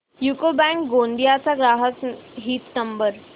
UCO bank Gondia चा ग्राहक हित नंबर